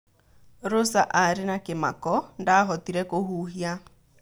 Rosa arĩ na kĩmako - ndahotire kũhuhia.